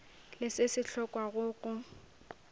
le se se hlokwago go